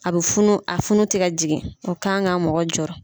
A bɛ funu a funu tɛ ka jigin o kan ka mɔgɔ jɔɔrɔ.